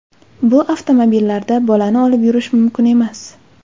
Bu avtomobillarda bolani olib yurish mumkin emas.